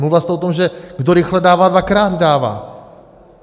Mluvila jste o tom, že kdo rychle dává, dvakrát dává.